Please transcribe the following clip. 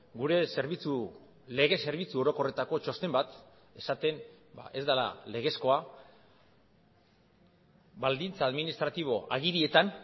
gure zerbitzu lege zerbitzu orokorretako txosten bat esaten ez dela legezkoa baldintza administratibo agirietan